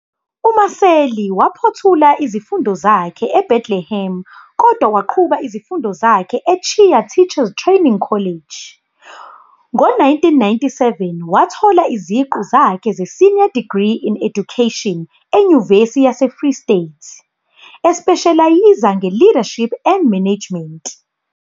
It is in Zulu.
UMaseli waphothula izifundo zakhe eBethlehem kodwa waqhuba izifundo zakhe eTshiya Teachers Training College. Ngo-1997 wathola iziqu zakhe ze-Senior Degree in Education eNyuvesi yaseFree State, espeshelayiza nge-Leadership and Management.